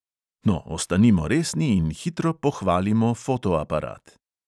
No, ostanimo resni in hitro pohvalimo fotoaparat.